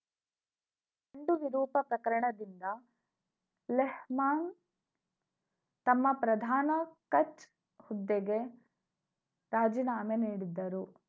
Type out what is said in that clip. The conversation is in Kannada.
ನ್ಡು ವಿರೂಪ ಪ್ರಕರಣದಿಂದ ಲೆಹ್ ಮಾನ್‌ ತಮ್ಮ ಪ್ರಧಾನ ಖಚ್‌ ಹುದ್ದೆಗೆ ರಾಜೀನಾಮೆ ನೀಡಿದ್ದರು